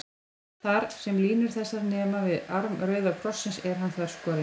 Þar, sem línur þessar nema við arm rauða krossins, er hann þverskorinn.